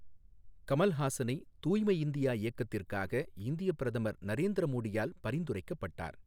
கமல்ஹாசனை தூய்மை இந்தியா இயக்கத்திற்காக இந்திய பிரதமர் நரேந்திர மோடியால் பரிந்துரைக்கப்பட்டார்.